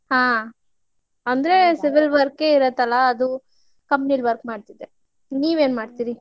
ಹಾ ಅಂದ್ರೆ civil work ಇರತ್ತಲಾ ಅದು company ಲಿ work ಮಾಡ್ತಿದ್ದೆ. ನೀವ್ ಏನ್ ಮಾಡ್ತೀರಿ?